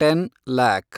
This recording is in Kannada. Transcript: ten lac